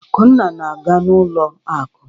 Akunna na-aga n'ụlọ akụ.